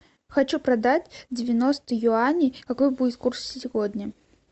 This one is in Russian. хочу продать девяносто юаней какой будет курс сегодня